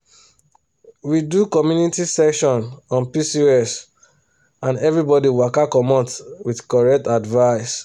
we do community session on pcos and everybody waka commot with correct advice.